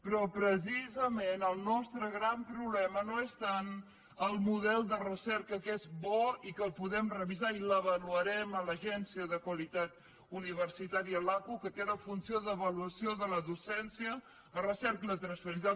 però precisament el nostre gran problema no és tant el model de recerca que és bo i que el podem revisar i l’avaluarem a l’agència de qualitat universitària l’aqu que té la funció d’avaluació de la docència la recerca i la transferència